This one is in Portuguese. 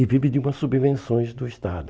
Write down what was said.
E vive de umas subvenções do Estado.